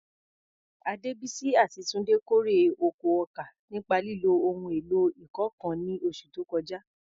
Adebisi àti Tunde kórè oko ọkà nípa lílo ohun èlò ìkọ́ nǹkan ní oṣù tó kọjá.